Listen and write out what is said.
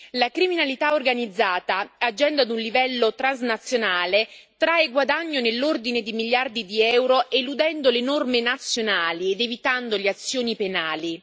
La criminalità organizzata, agendo ad un livello transnazionale, trae guadagno nell'ordine di miliardi di euro, eludendo le norme nazionali ed evitando le azioni penali.